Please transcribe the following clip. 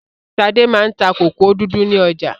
Ṣadé máa ń ta kòkò dúdú ní ọ̀jà.